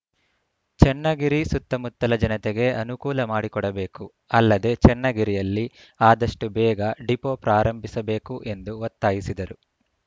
ಚನ್ನಗಿರಿ ಸುತ್ತಮುತ್ತಲ ಜನತೆಗೆ ಅನುಕೂಲ ಮಾಡಿಕೊಡಬೇಕು ಅಲ್ಲದೇ ಚನ್ನಗಿರಿಯಲ್ಲಿ ಆದಷ್ಟುಬೇಗ ಡಿಪೋ ಪ್ರಾರಂಭಿಸಬೇಕು ಎಂದು ಒತ್ತಾಯಿಸಿದರು